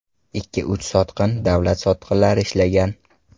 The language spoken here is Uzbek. Ikki-uch sotqin, davlat sotqinlari ishlagan.